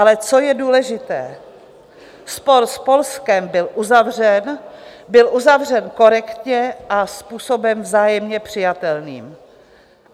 Ale co je důležité, spor s Polskem byl uzavřen, byl uzavřen korektně a způsobem vzájemně přijatelným.